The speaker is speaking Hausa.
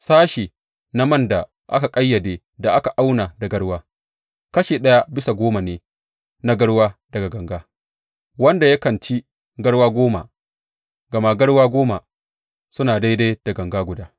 Sashe na man da aka ƙayyade, da aka auna da garwa, kashi ɗaya bisa goma ne na garwa daga ganga wanda yakan ci garwa goma, gama garwa goma suna daidai da ganga guda.